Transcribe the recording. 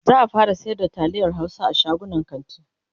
za'a fara sayar da taliyan Hausa a shagunan kanti